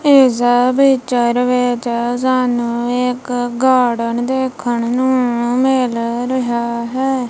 ਇਸ ਪਿੱਚਰ ਵਿੱਚ ਸਾਨੂੰ ਇੱਕ ਗਾਰਡਨ ਦੇਖਣ ਨੂੰ ਮਿਲ ਰਿਹਾ ਹੈ।